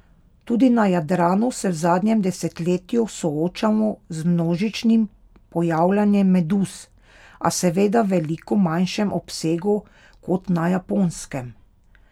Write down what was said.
Tudi na Jadranu se v zadnjem desetletju soočamo z množičnim pojavljanjem meduz, a seveda v veliko manjšem obsegu kot na Japonskem.